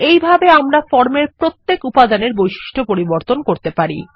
এইভাবে আমরা ফর্মের প্রত্যেক উপাদান এর বৈশিষ্ট্য পরিবর্তন করতে পারি